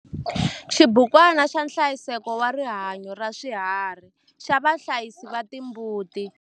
Xibukwana xa nhlayiseko wa rihanyo ra swiharhi xa vahlayisi va timbuti.